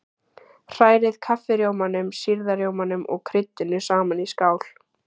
Hrærið kaffirjómanum, sýrða rjómanum og kryddinu saman í skál.